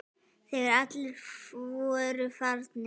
Þegar allir voru farnir.